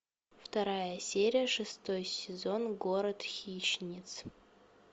вторая серия шестой сезон город хищниц